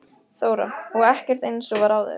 Þóra: Og ekkert eins og var áður?